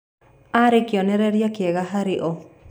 Aarĩ kĩonereria kĩega harĩ o.